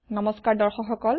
নমস্কাৰ দৰ্শক সকল